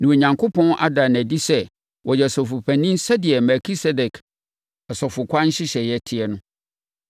na Onyankopɔn ada no adi sɛ ɔyɛ Ɔsɔfopanin sɛdeɛ Melkisedek asɔfokwan nhyehyɛeɛ te no.